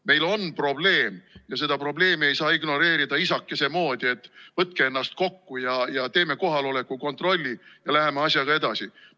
Meil on probleem ja seda probleemi ei saa ignoreerida isakese moodi, et võtke ennast kokku ja teeme kohaloleku kontrolli ja läheme asjaga edasi.